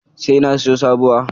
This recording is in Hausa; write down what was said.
Sai na siyo sabuwa.